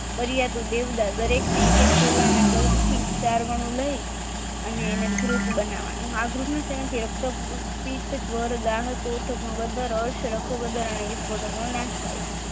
દરેકને એક એક તોલા ના કલ્પ થી વદર અશ વિશ્વ નો નાશ થાય છે